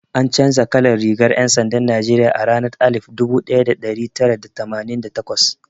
An canza kalar rigar 'yan sanda a Najeriya a ranar alif dubu daya da dari tara da tamanin da takwas.